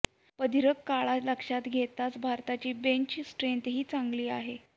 प्रदीर्घ काळ लक्षात घेतल्यास भारताची बेंच स्ट्रेन्थही चांगली आहे